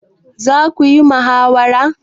Za ku yi muhawara?